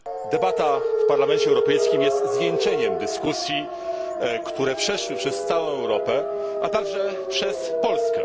Debata w Parlamencie Europejskim jest zwieńczeniem dyskusji, które przeszły przez całą Europę, a także przez Polskę.